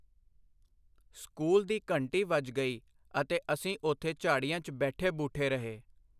School ਦੀ ਘੰਟੀ ਵੱਜ ਗਈ ਅਤੇ ਅਸੀਂ ਉੱਥੇ ਝਾੜੀਆਂ 'ਚ ਬੈਠੇ ਬੂੱਠੇ ਰਹੇ।